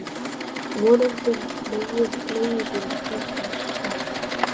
Vonandi nógir leigubílar þótt það sé þessi dagur.